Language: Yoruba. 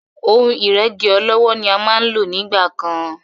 Ohun ìrẹ́gí ọlọ́wọ́ ni a máa ń nígbà kan.